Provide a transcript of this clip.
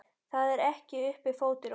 Það er uppi fótur og fit.